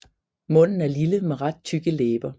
Munden er lille med ret tykke læber